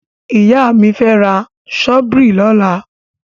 Ìyá fi ra ṣọ́bìrì lọ́la.